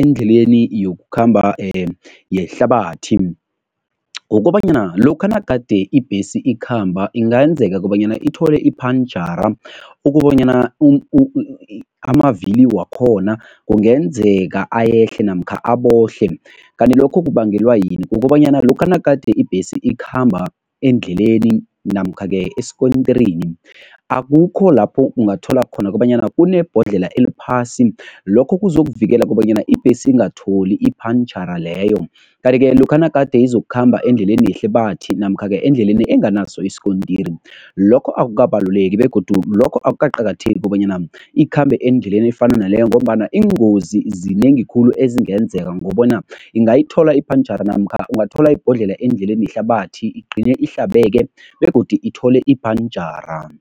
endleleni yokukhamba yehlabathi, kukobanyana lokha nagade ibhesi ikhamba ingayenzeka kobanyana ithole iphantjhara ukobanyana amavili wakhona kungenzeka ayehle namkha abohle, kanti lokho kubangelwa yini? Kukobanyana lokha nagade ibhesi ikhamba endleleni namkha-ke esikontirini akukho lapho ungathola khona kobanyana kunebhodlela eliphasi. Lokho kuzokuvikela kobanyana ibhesi ingatholi iphantjhara leyo. Kanti-ke lokha nagade izokukhamba endleleni yehlabathi namkha-ke endleleni enganaso isikontiri, lokho akukabaluleki begodu lokho akukaqakatheki kobanyana ikhambe endleleni efana naleyo ngombana iingozi zinengi khulu ezingenzeka ngobona ingayithola iphantjhara namkha ungathola ibhodlelo endleleni yehlabathi igcine ihlabeke begodu ithole iphantjhara.